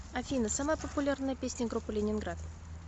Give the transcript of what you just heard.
афина самая популярная песня группы лениниград